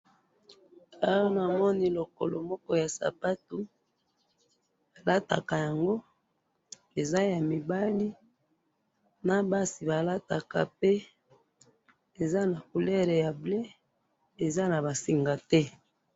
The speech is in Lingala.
awa namoni lokolo moko ya sapato balataka yango, eza ya mibali na basi balataka pe eza na couleur ya bleu eza na basinga te.